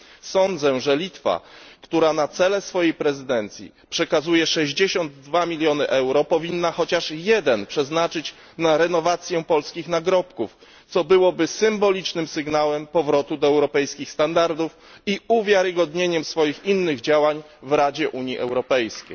Sądzę, że Litwa, która na cele swojej prezydencji przekazuje 62 miliony euro, powinna chociaż jeden milion przeznaczyć na renowację polskich nagrobków, co byłoby symbolicznym sygnałem powrotu do europejskich standardów i uwiarygodnieniem innych działań tego państwa w Radzie Unii Europejskiej.